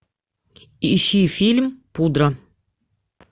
ищи фильм пудра